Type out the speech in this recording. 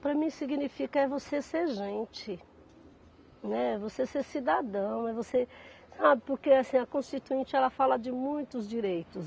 Para mim significa é você ser gente, né, você ser cidadão, é você, sabe, porque assim a constituinte ela fala de muitos direitos.